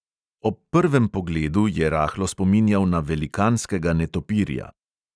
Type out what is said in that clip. Ob prvem pogledu je rahlo spominjal na velikanskega netopirja.